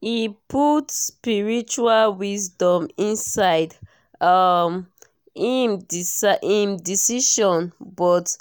e put spiritual wisdom inside um im decisions but